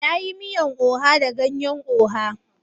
Na yi miyan oha da ganyan oha.